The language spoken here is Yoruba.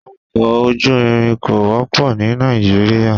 Ọkọ ojú irin kò wọ́pọ̀ ní Nàìjíríà.